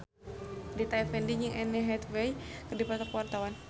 Rita Effendy jeung Anne Hathaway keur dipoto ku wartawan